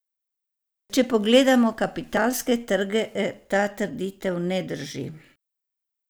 Če pogledamo kapitalske trge, ta trditev ne drži.